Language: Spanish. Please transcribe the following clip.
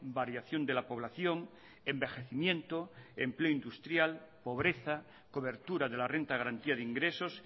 variación de la población envejecimiento empleo industrial pobreza cobertura de la renta de garantía de ingresos